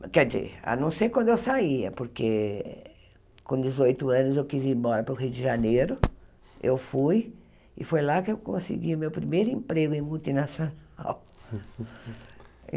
quer dizer, a não ser quando eu saía, porque com dezoito anos eu quis ir embora para o Rio de Janeiro, eu fui, e foi lá que eu consegui meu primeiro emprego em multinacional.